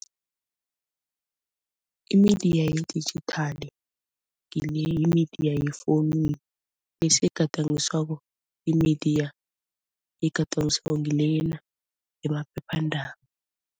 I-media ye-digital ngile yi-media yefowunini bese egadangiswako yi-media egandangiswako ngilena yemaphephandaba.